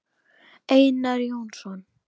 Einar Jónsson